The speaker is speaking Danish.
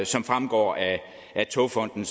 som fremgår af togfonden